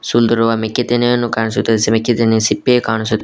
ಸುಲಿದಿರುವ ಮಿಕ್ಕಿ ತೆನೆಯನ್ನು ಕಾಣಿಸುತ್ತೆ ಸಿಪ್ಪೆಯು ಕಾಣಿಸು--